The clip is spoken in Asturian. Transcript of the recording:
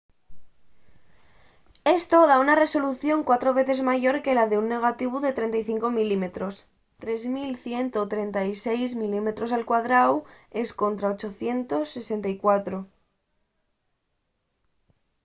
esto da una resolución cuatro veces mayor que la d’un negativu de 35 mm 3136 mm² contra 864